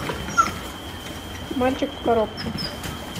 мальчик в коробке